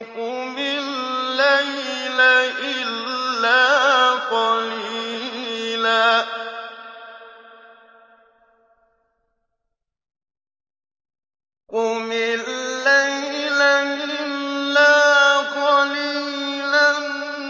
قُمِ اللَّيْلَ إِلَّا قَلِيلًا